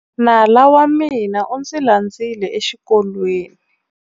Nala wa mina u ndzi landzile exikolweni.